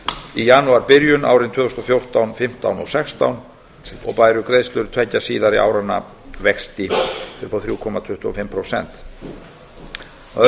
í janúarbyrjun árin tvö þúsund og fjórtán tvö þúsund og fimmtán og tvö þúsund og sextán og bæru greiðslur tveggja síðari áranna vexti upp á þrjú komma tuttugu og fimm prósent að öðru